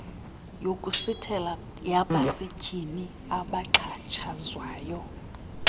yokusithela yabasetyhini abaxhatshazwayo